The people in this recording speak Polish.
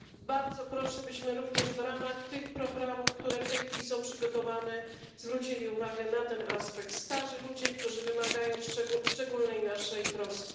Bardzo proszę, byśmy również w ramach tych programów, które w tej chwili są przygotowywane, zwrócili uwagę na ten aspekt, na starych ludzi, którzy wymagają szczególnej naszej troski.